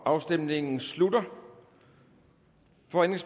afstemningen slutter